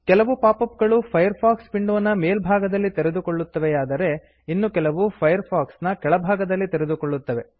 ಕೆಲವು pop up ಗಳು Firefox ವಿಂಡೋನ ಮೇಲ್ಭಾಗದಲ್ಲಿ ತೆರೆದುಕೊಳ್ಳುತ್ತವೆಯಾದರೆ ಇನ್ನು ಕೆಲವು ಫೈರ್ ಫಾಕ್ಸ್ನ ಕೆಳಭಾಗದಲ್ಲಿ ತೆರೆದುಕೊಳ್ಳುತ್ತವೆ